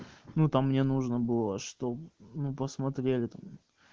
ну там мне нужно было чтоб ну посмотрели там